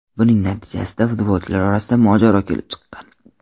Buning natijasida futbolchilar orasida mojaro kelib chiqqan.